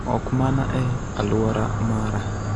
ok mana e alwora mara